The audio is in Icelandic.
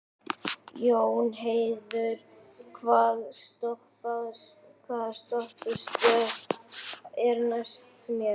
Jónheiður, hvaða stoppistöð er næst mér?